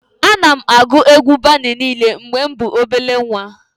Ana m agụ egwu Bani niile mgbe mụ bụ obele nwa